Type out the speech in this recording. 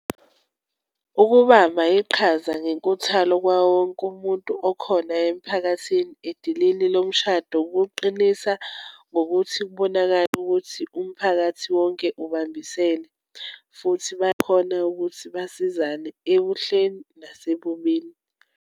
Ukubamba iqhaza ngenkuthalo kwawo wonke umuntu okhona emphakathini, edilini lomshado, kuqinisa ngokuthi kubonakale ukuthi umphakathi wonke ubambisene, futhi bakhona ukuthi basizane, ebuhleleni nasebubini.